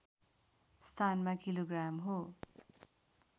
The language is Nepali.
स्थानमा किलो ग्राम हो